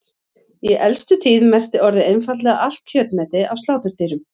Í elstu tíð merkti orðið einfaldlega allt kjötmeti af sláturdýrum.